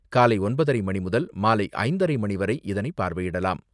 காலை ஒன்பதரை மணி முதல் மாலை ஐந்தரை மணி வரை இதனை பார்வையிடலாம்.